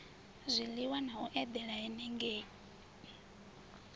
zwiliwa na u edela henengei